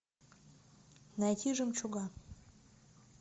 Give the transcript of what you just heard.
найти жемчуга